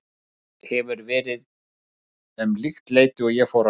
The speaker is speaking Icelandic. Það hefur verið um líkt leyti og ég fór að sofa.